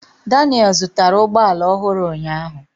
Daniel zụtara ụgbọ ala ọhụrụ ụnyaahụ.